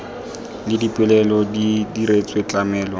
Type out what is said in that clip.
le dipoelo di diretswe tlamelo